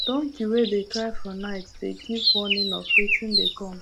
donkey wey dey cry for night dey give warning of wetin dey come